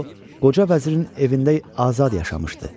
O qoca vəzirin evində azad yaşamışdı.